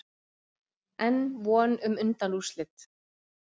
Enn von um undanúrslit